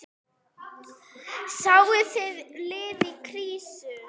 Sáuð þið lið í krísu?